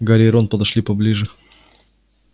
гарри и рон подошли поближе